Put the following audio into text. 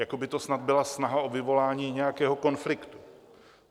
Jako by to snad byla snaha o vyvolání nějakého konfliktu.